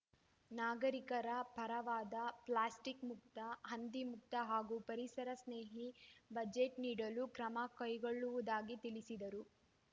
ನಾಗರೀಕರ ಪರವಾದ ಪ್ಲಾಸ್ಟಿಕ್‌ ಮುಕ್ತ ಹಂದಿ ಮುಕ್ತ ಹಾಗೂ ಪರಿಸರ ಸ್ನೇಹಿ ಬಜೆಟ್‌ ನೀಡಲು ಕ್ರಮ ಕೈಗೊಳ್ಳುವುದಾಗಿ ತಿಳಿಸಿದರು